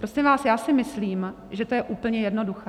Prosím vás, já si myslím, že to je úplně jednoduché.